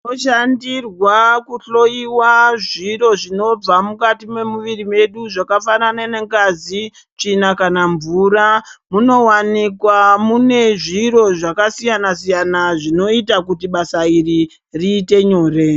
Shandirwa kuhloiwa zViro zvinobva mukati mwemuwiri medu zvakafanane nengazi tsvina kana mvura munowanikwa mune zviro zvakasiyana siyana zvinoita kuti basa iri riite nyore.